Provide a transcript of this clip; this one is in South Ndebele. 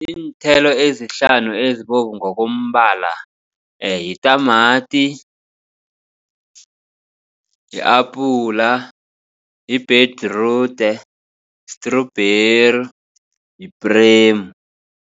Iinthelo ezihlanu ezibovu ngokombala yitamati, yi-apula, yibhedirude, trawberry, yipremu.